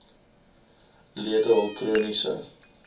lede hul chroniese